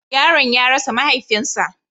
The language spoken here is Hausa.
Yaron ya rasa mahaifinsa.